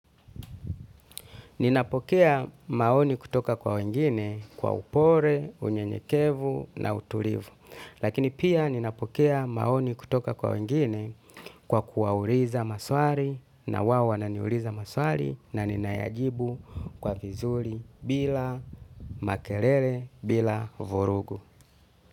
Ninapokea maoni kutoka kwa wengine kwa upole, unyenyekevu na utulivu. Lakini pia ninapokea maoni kutoka kwa wengine kwa kuwauliza maswali na wao wananiuliza maswali na ninayajibu kwa vizuri bila makelele bila vorugu.